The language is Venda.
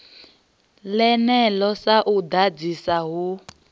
ḽeneḽo sa u ḓadzisa hu